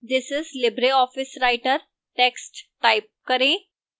this is libreoffice writer text type करें